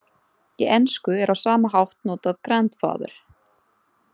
Í ensku er á sama hátt notað grandfather.